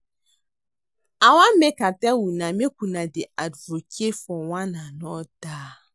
I wan make I tell una make una dey advocate for one another